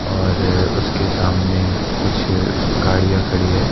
और उसके सामने कुछ गाड़ियां खड़ी है।